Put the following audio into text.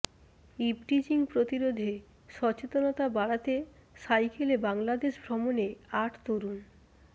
eve teasing প্রতিরোধে সচেতনতা বাড়াতে সাইকেলে বাংলাদেশ ভ্রমণে আট তরুণ